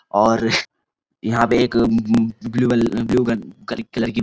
और यहां पे एक ब्‍लू ब्लू कलर की--